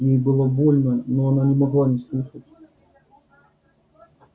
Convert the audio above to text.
ей было больно но она не могла не слушать